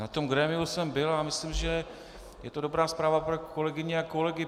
Na tomto grémiu jsem byl a myslím, že je to dobrá zpráva pro kolegyně a kolegy.